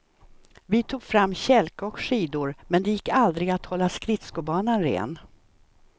Vi tog fram kälke och skidor, men det gick aldrig att hålla skridskobanan ren.